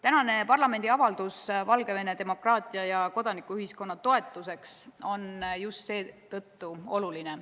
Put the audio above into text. Tänane parlamendi avaldus Valgevene demokraatia ja kodanikuühiskonna toetuseks on just seetõttu oluline.